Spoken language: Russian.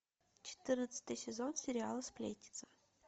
четырнадцатый сезон сериала сплетница